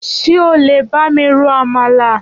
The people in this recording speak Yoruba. Ṣé ọ le bá mí ro àmàlà?